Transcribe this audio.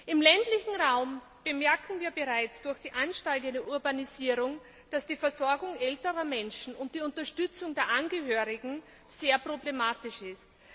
Im ländlichen Raum bemerken wir bereits durch die ansteigende Urbanisierung, dass die Versorgung älterer Menschen und die Unterstützung der Angehörigen sehr problematisch ist.